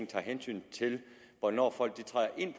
tager hensyn til hvornår folk træder ind